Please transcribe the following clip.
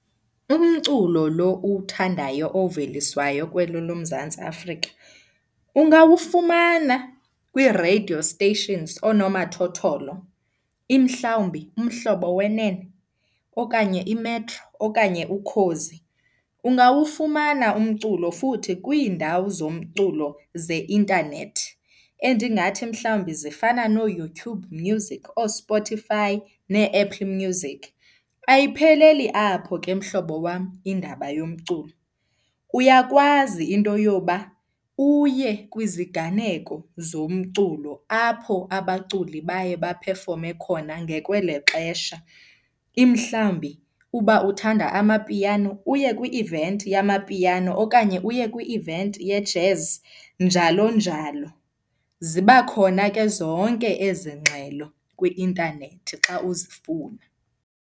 Umculo lo uwuthandayo oveliswayo kweli loMzantsi Afrika ungawufumana kwii-radio stations, oonomathotholo, mhlawumbi Umhlobo Wenene okanye iMetro okanye Ukhozi. Ungawufumana umculo futhi kwiindawo zomculo zeintanethi endingathi mhlawumbi zifana nooYouTube Music, ooSpotify neeApple Music. Ayipheleli apho ke mhlobo wam indaba yomculo, uyakwazi into yoba uye kwiziganeko zomculo apho abaculi baye baphefome khona ngekwelo xesha. Mhlawumbi uba uthanda amapiano uye kwi-event yamapiano okanye uye kwi-event ye-jazz, njalo njalo. Ziba khona ke zonke ezi ngxelo kwi-intanethi xa uzifuna.